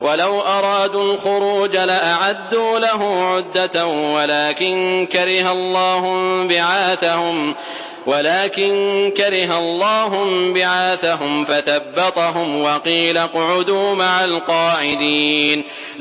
۞ وَلَوْ أَرَادُوا الْخُرُوجَ لَأَعَدُّوا لَهُ عُدَّةً وَلَٰكِن كَرِهَ اللَّهُ انبِعَاثَهُمْ فَثَبَّطَهُمْ وَقِيلَ اقْعُدُوا مَعَ الْقَاعِدِينَ